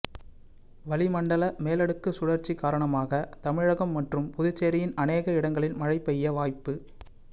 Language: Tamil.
வளிமண்டல மேலடுககு சுழற்சி காரணமாக தமிழகம் மற்றும் புதுச்சேரியின் அநேக இடங்களில் மழை பெய்ய வாய்ப்பு